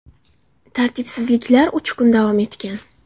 Tartibsizliklar uch kun davom etgan.